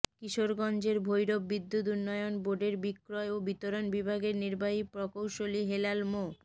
কিশোরগঞ্জের ভৈরব বিদ্যুৎ উন্নয়ন বোর্ডের বিক্রয় ও বিতরণ বিভাগের নির্বাহী প্রকৌশলী হেলাল মো